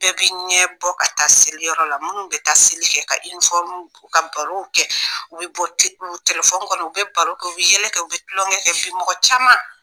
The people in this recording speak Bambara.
Bɛɛ bɛ ɲɛ bɔ ka taa seliyɔrɔ la minnu bɛ taa seli kɛ ka ka barow kɛ u bɛ bɔ telefɔni kɔnɔ u bɛ baro kɛ u bɛ yɛlɛ kɛ u bɛ tulonkɛ kɛ bi mɔgɔ caman